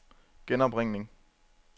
genopringning